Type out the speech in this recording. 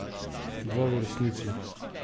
Dva v resnici.